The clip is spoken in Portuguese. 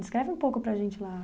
Descreve um pouco para a gente lá.